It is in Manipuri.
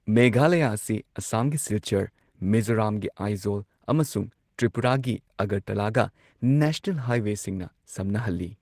ꯃꯦꯘꯥꯂꯌꯥ ꯑꯁꯤ ꯑꯁꯥꯝꯒꯤ ꯁꯤꯜꯆꯔ, ꯃꯤꯖꯣꯔꯥꯝꯒꯤ ꯑꯥꯏꯖꯣꯜ ꯑꯃꯁꯨꯡ ꯇ꯭ꯔꯤꯄꯨꯔꯥꯒꯤ ꯑꯒꯔꯇꯂꯥꯒ ꯅꯦꯁꯅꯦꯜ ꯍꯥꯏꯋꯦꯁꯤꯡꯅ ꯁꯝꯅꯍꯜꯂꯤ꯫